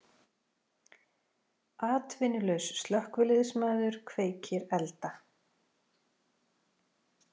Atvinnulaus slökkviliðsmaður kveikir elda